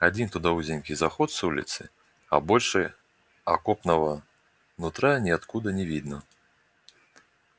один туда узенький заход с улицы а больше окопного нутра ниоткуда не видно